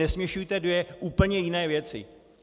Nesměšujte dvě úplně jiné věci.